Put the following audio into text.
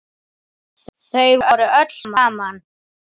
Þau voru öll saman.